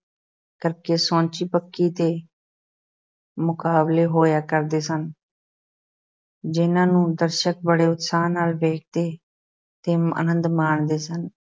ਕਰਕੇ ਸੌਂਚੀ ਪੱਕੀ ਦੇ ਮੁਕਾਬਲੇ ਹੋਇਆ ਕਰਦੇ ਸਨ ਜਿਨ੍ਹਾਂ ਨੂੰ ਦਰਸ਼ਕ ਬੜੇ ਉਤਸ਼ਾਹ ਨਾਲ ਵੇਖਦੇ ਤੇ ਅਨੰਦ ਮਾਣਦੇ ਸਨ।